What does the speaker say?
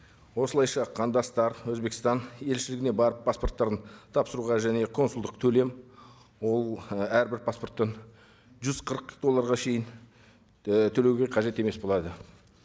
осылайша қандастар өзбекстан елшілігіне барып паспорттарын тапсыруға және консулдық төлем ол ы әрбір паспорттан жүз қырық долларға шейін і төлеуге қажет емес болады